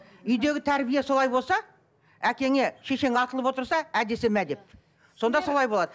үйдегі тәрбие солай болса әкеңе шешең атылып отырса ә десе мә деп сонда солай болады